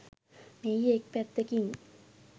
මෙහි එක් පැත්තකින්